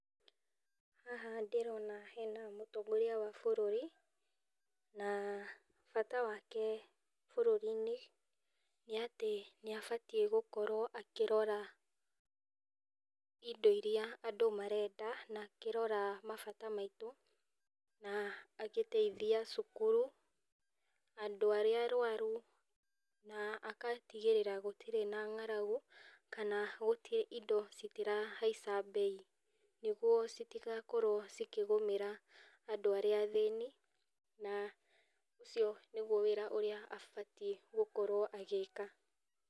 Haha ndĩrona hena mũtongoria wa bũrũri na bata wake bũrũri-inĩ, nĩ abatie gũkorwo akĩrora indo iria andũ marenda na akĩrora mabata maitũ na agĩteithia cukuru na andũ arĩa arwaru na agatigĩrĩra gũtirĩ na ng'aragu, kana gũtirĩ indo cira haicha mbei, nĩcio citigakorwo ikĩgũmĩra andũ arĩa athĩni, na ũcio nĩguo wĩra ũrĩa abatie gũkorwo agĩka.